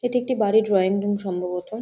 এটি একটি বাড়ির ডোয়িং রুম সম্ভবত।